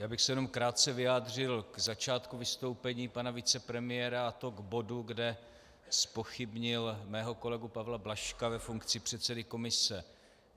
Já bych se jenom krátce vyjádřil k začátku vystoupení pana vicepremiéra, a to k bodu, kde zpochybnil mého kolegu Pavla Blažka ve funkci předsedy komise.